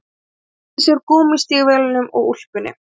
Hann klæddi sig úr gúmmístígvélunum og úlpunni